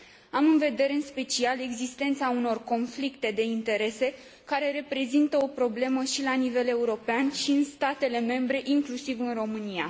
Am în vedere, în special, existența unor conflicte de interese care reprezintă o problemă atât la nivel european, cât și în statele membre, inclusiv în România.